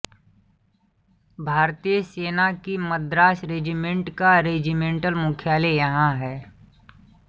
भारतीय सेना की मद्रास रेजिमेंट का रेजिमेंटल मुख्यालय यहाँ है